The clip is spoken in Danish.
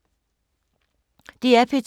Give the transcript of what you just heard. DR P2